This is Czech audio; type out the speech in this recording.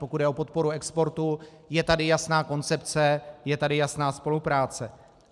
Pokud jde o podporu exportu, je tady jasná koncepce, je tady jasná spolupráce.